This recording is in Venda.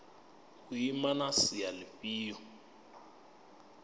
u ima na sia lifhio